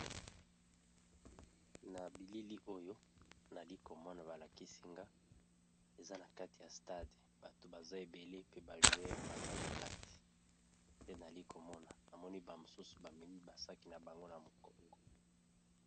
Na bilili oyo nali komona ba lakisi nga eza na kati ya stade bato baza ebele pe ba joueur baza na kati, te nali komona namoni ba mosusu ba memi ba saki na bango na mokongo.